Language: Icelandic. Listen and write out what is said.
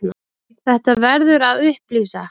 Þetta verður að upplýsa.